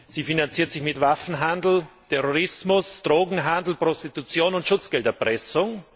Sie finanziert sich mit Waffenhandel, Terrorismus, Drogenhandel, Prostitution und Schutzgelderpressung.